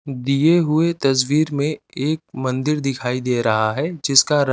दिए हुए तस्वीर में एक मंदिर दिखाई दे रहा है जिसका रं--